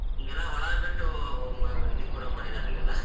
ಈಗೆಲ್ಲಾ ಹೊಲ ಬಿಟ್ಟ ಇದಕ್ ಬರುವಂಗ್ ಮಾಡಿದಾರ್ರೀ ಈಗೆಲ್ಲಾ.